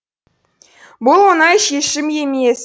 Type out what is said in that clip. бұл оңай шешім емес